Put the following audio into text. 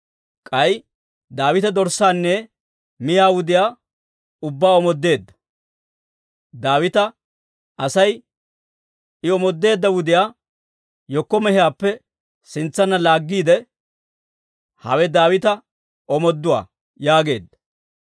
K'ay Daawite dorssaanne miyaa wudiyaa ubbaa omoodeedda; Daawita Asay I omoodeedda wudiyaa hinkko mehiyaappe sintsanna laaggiide, «Hawe Daawita omooduwaa» yaageedda.